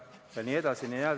Jne, jne.